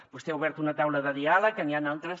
vostè ha obert una taula de diàleg que n’hi han d’altres